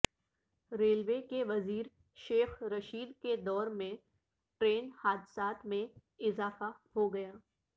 railway کے وزیر شیخ رشید کے دور میں ٹرین حادثات میں اضافہ ہوگیا